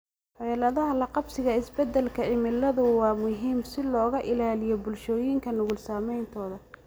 Xeeladaha la qabsiga isbeddelka cimiladu waa muhiim si looga ilaaliyo bulshooyinka nugul saameyntooda.